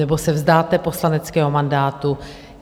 Nebo se vzdáte poslaneckého mandátu?